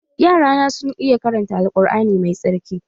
Yara na sun iya karanta Al Kur'ani mai tsarki